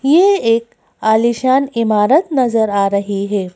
ये एक आलीशान इमारत नजर आ रही हैं।